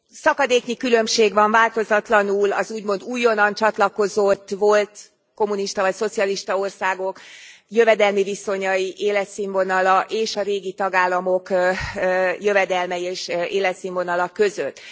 Szakadéknyi különbség van változatlanul az úgymond újonnan csatlakozott, volt kommunista vagy szocialista országok jövedelmi viszonyai, életszínvonala és a régi tagállamok jövedelme és életszínvonala között.